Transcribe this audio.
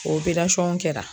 O kɛra